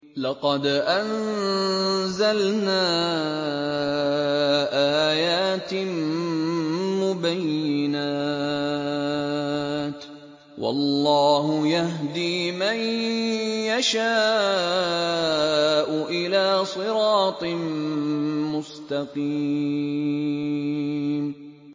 لَّقَدْ أَنزَلْنَا آيَاتٍ مُّبَيِّنَاتٍ ۚ وَاللَّهُ يَهْدِي مَن يَشَاءُ إِلَىٰ صِرَاطٍ مُّسْتَقِيمٍ